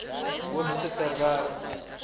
hoogste ter wêreld